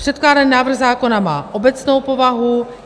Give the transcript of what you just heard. Předkládaný návrh zákona má obecnou povahu.